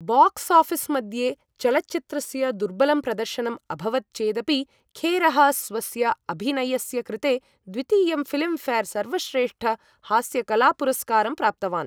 Box office मध्ये चलच्चित्रस्य दुर्बलं प्रदर्शनम् अभवत् चेदपि खेरः स्वस्य अभिनयस्य कृते द्वितीयं फिल्मफेयर सर्वश्रेष्ठ हास्यकला पुरस्कारं प्राप्तवान् ।